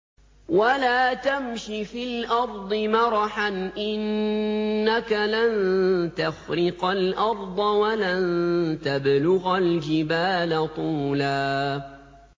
وَلَا تَمْشِ فِي الْأَرْضِ مَرَحًا ۖ إِنَّكَ لَن تَخْرِقَ الْأَرْضَ وَلَن تَبْلُغَ الْجِبَالَ طُولًا